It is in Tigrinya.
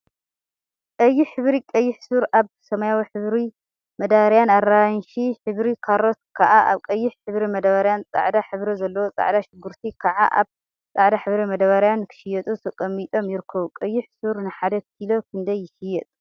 ቀይሕ ሕብሪ ቀይሕ ሱር አብ ሰማያዊ ሕብሪ መዳበርያን አራንሺ ሕብሪ ካሮት ከዓ አብ ቀይሕ ሕብሪ መዳበርያን ፃዕዳ ሕብሪ ዘለዎ ፃዕዳ ሽጉርቲ ከዓ አብ ፃዕዳ ሕብሪ መዳበርያን ንክሽየጡ ተቀሚጦም ይርከቡ፡፡ ቀይሕ ሱር ንሓደ ኪሎ ክንደይ ይሽየጥ?